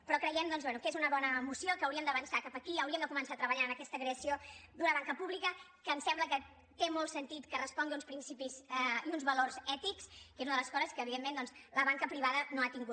però creiem doncs bé que és una bona moció que hauríem d’avançar cap aquí hauríem de començar a treballar en aquesta creació d’una banca pública que em sembla que té molt sentit que respongui a uns principis i uns valors ètics que és una de les coses que evidentment doncs la banca privada no ha tingut